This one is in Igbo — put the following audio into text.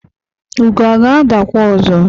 ugo ọ ga-adakwa ọzọ?